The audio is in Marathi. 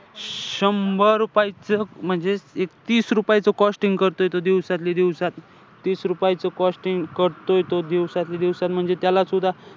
शंभर रुपयाचं म्हणजे तीस रुपये तो costing करतोय तो दिवसातल्या दिवसात. तीस रुपयाचं costing करतोय तो दिवसातल्या दिवसात म्हणजे त्यालासुद्धा,